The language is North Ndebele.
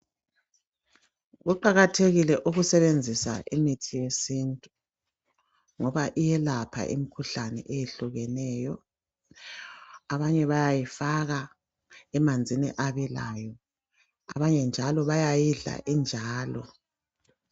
Kuqakathekile ukusebenzisa imithi yesintu ngoba iyelapha imikhuhlane eyehlukeneyo abanye bayayifaka emanzini abilayo abanye njalo bayayidla injalo.